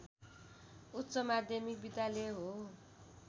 उच्च माध्यमिक विद्यालय हो